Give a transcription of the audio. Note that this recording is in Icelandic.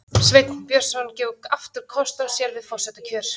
Sveinn Björnsson gefur aftur kost á sér við forsetakjör